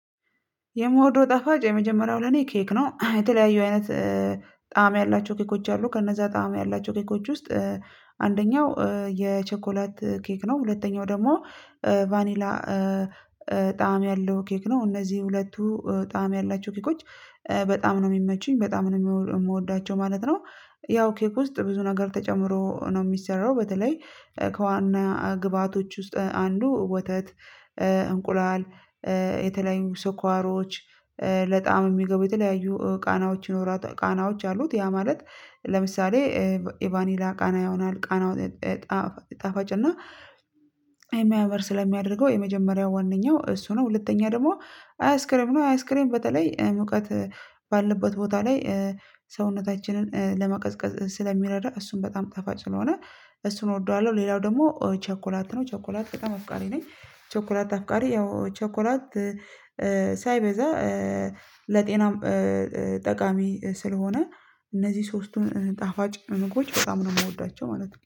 የምወደው ጣፋጭ የመጀመሪያው ለኔ ኬክ ነው የተለያዩ አይነት ጣዕም ያላቸው ኬኮች አሉ ከነዛ ጣዕም ያላቸው ኬኮች ውስጥ አንደኛው የቸኮላት ኬክ ነው ሁለተኛው ደግሞ ቫኒላ ጣዕም ያለው ኬክ ነው እነዚህ ሁለቱ ጣዕም ያላቸው ኬኮች በጣም ነው የሚመቹኝ በጣም ነው የምወዳቸው ማለት ነው። ያው ኬክ ውስጥ ብዙ ነገር ተጨምሮ ነው የሚሰራው በተለይ ከዋና ግብአቶች ውስጥ አንዱ ወተት እንቁላል የተለያዩ ስኳሮች ለጣዕም የሚገቡ የተለያዩ ቃናዎች ይኖራ ቃናዎች አሉት። ያ ማለት ለምሳሌ የቫኒላ ቃና ይሆናል ቃናው ጣፋጭ እና የሚያምር ስለሚያደርገው የመጀመሪያው ዋነኛው እሱ ነው። ሁለተኛ ደግሞ አይስክሬም ነው አይስክሬም በተለይ ሙቀት ባለበት ቦታ ላይ ሰውነታችንን ለመቀዝቀዝ ስለሚረዳ እሱም በጣም ጣፋጭ ስለሆነ እሱን እወደዋለሁ። ሌላው ደግሞ ቸኮላት ነው ቸኮላት በጣም አፍቃሪ ነኝ። ቸኮላት አፍቃሪ ያው ቸኮላት ሳይበዛ ለጤናም ጠቃሚ ስለሆነ እነዚህ ሶስቱን ጣፋጭ ምግቦች በጣም ነው የምወዳቸው ማለት ነው